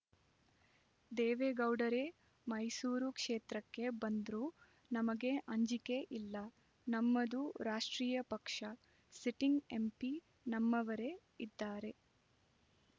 ದೇವೇಗೌಡರೇ ಮೈಸೂರು ಕ್ಷೇತ್ರಕ್ಕೆ ಬಂದ್ರೂ ನಮಗೆ ಅಂಜಿಕೆ ಇಲ್ಲ ನಮ್ಮದು ರಾಷ್ಟ್ರೀಯ ಪಕ್ಷ ಸಿಟ್ಟಿಂಗ್ ಎಂಪಿ ನಮ್ಮವರೇ ಇದ್ದಾರೆ